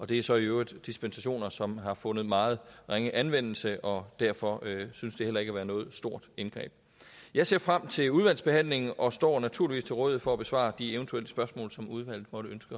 det er så i øvrigt dispensationer som har fundet meget ringe anvendelse og derfor synes det heller ikke at være noget stort indgreb jeg ser frem til udvalgsbehandlingen og står naturligvis til rådighed for at besvare de eventuelle spørgsmål som udvalget